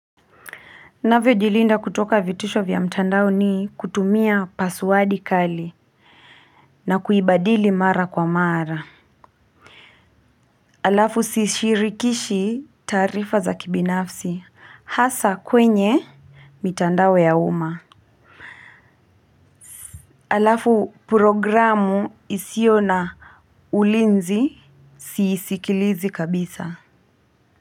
Navyo jilinda kutoka vitisho vya mtandao ni kutumia passwadi kali. Na kuibadili mara kwa mara. Alafu si sirikishi taarifa za kibinafsi. Hasa kwenye mitandao ya umma. Alafu programu isiyo na ulinzi siisikilizi kabisa.